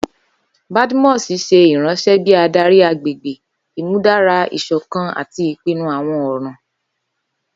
Badmus ṣe iranṣẹ bi adari agbegbe, imudara isokan ati ipinnu awọn ọran.